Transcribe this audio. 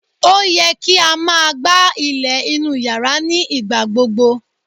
O yẹ ki a máa gbá ilẹ̀ inú yàrá ní ìgbà gbogbo